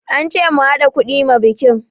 An ce mu haɗa kuɗi ma bikin